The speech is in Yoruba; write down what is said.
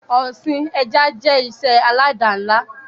Ọsìn ẹja jẹ́ ìṣe alada ńlá